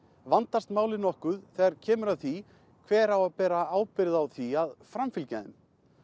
vandast málið nokkuð þegar kemur að því hver á að bera ábyrgð á því að framfylgja þeim